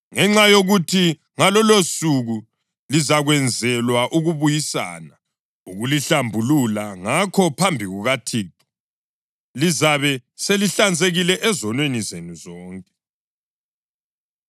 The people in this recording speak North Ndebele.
ngenxa yokuthi ngalolusuku lizakwenzelwa ukubuyisana, ukulihlambulula. Ngakho, phambi kukaThixo, lizabe selihlanzekile ezonweni zenu zonke.